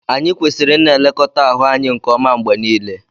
Anyị kwesịrị ịna-elekọta ahụ anyị nke ọma mgbe niile